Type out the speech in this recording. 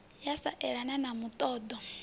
ya sa elane na muṱoḓo